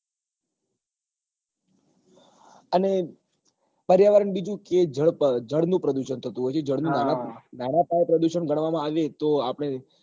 અને પર્યાવરણ બીજું કે જળ ક જળ નું પ્રદુષણ થતું હોય છે નાના પાયે પ્રદુષણ ગણવા માં આવીએ તો આપડે